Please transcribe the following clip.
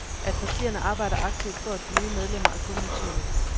At partierne arbejder aktivt for at få nye medlemmer, er kun naturligt.